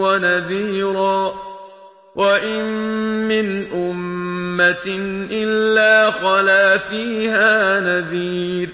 وَنَذِيرًا ۚ وَإِن مِّنْ أُمَّةٍ إِلَّا خَلَا فِيهَا نَذِيرٌ